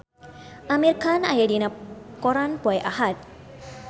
Amir Khan aya dina koran poe Ahad